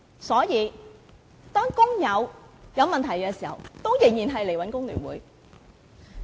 所以，當工友有問題時仍然會找工聯會。